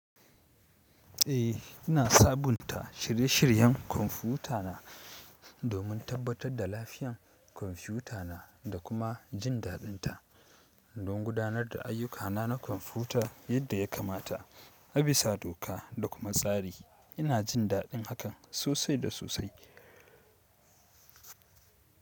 Eh ina sabunta shirye-shiryen kwamfutana domin tabbatar da lafiyan kwamfuta na da kuma jin daɗin ta. Don gudanar da ayyukana na kwamfuta yadda ya kamata, abisa doka da kuma tsari. Ina jin daɗin hakan sosai da sosai.